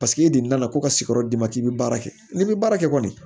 Paseke e deli la ka ko ka sigiyɔrɔ d'i ma k'i bɛ baara kɛ n'i bɛ baara kɛ kɔni